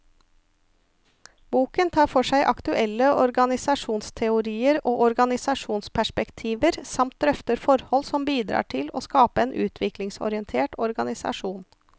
Boken tar for seg aktuelle organisasjonsteorier og organisasjonsperspektiver, samt drøfter forhold som bidrar til å skape en utviklingsorientert organisasjon.